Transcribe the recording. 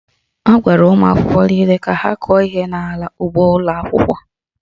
A gwara ụmụ akwụkwọ niile ka ha kụọ ihe n'ala ugbo ụlọ akwụkwọ